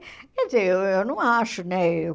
Quer dizer, eu eu não acho, né?